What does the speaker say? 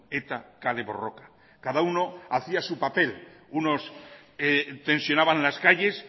eta kale borroka cada uno hacía su papel unos tensionaban las calles